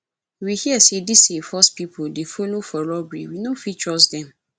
we hear sey dese force pipo dey folo for robbery we no fit trust dem